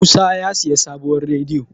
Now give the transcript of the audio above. musa sayi sabuwar rediyo